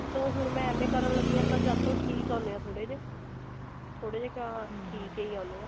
ਹੁਣ ਮੈਂ ਐਵੇਂ ਕਰਨ ਲੱਗੀ ਹਾਂ ਤਾਂ ਜਦ ਤੋਂ ਠੀਕ ਅੰਡੇ ਨੇ ਥੋੜੇ ਜੇ ਥੋੜੇ ਜੇ ਕਿਆ ਠੀਕ ਹੀ ਆਉਂਦੇ ਹੈ